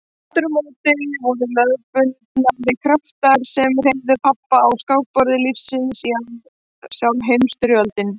Aftur á móti voru lögmálsbundnari kraftar sem hreyfðu pabba á skákborði lífsins já sjálf Heimsstyrjöldin.